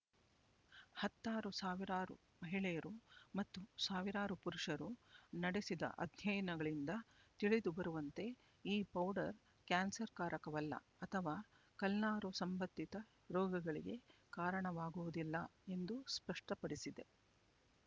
ಹತ್ತಾರು ಸಾವಿರಾರು ಮಹಿಳೆಯರು ಮತ್ತು ಸಾವಿರಾರು ಪುರುಷರು ನಡೆಸಿದ ಅಧ್ಯಯನಗಳಿಂದ ತಿಳಿದುಬರುವಂತೆ ಈ ಪೌಡರ್ ಕ್ಯಾನ್ಸರ್‌ಕಾರಕವಲ್ಲ ಅಥವಾ ಕಲ್ನಾರು ಸಂಬಂಧಿತ ರೋಗಗಳಿಗೆ ಕಾರಣವಾಗುವುದಿಲ್ಲ ಎಂದು ಸ್ಪಷ್ಟಪಡಿಸಿದೆ